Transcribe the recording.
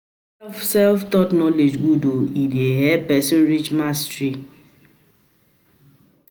self- taught knowledge good o, e dey help person reach mastery